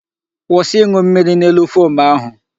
Kwụsị ịṅụ mmiri n'elu fom ahụ!